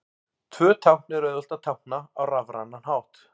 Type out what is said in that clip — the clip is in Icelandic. Tvö tákn er auðvelt að tákna á rafrænan hátt.